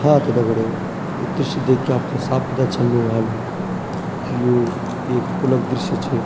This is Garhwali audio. हाँ त दगड़ियों ये दृश्य देख के आपथे साफ़ पता चलणु वालू की यो एक पुलक दृश्य च।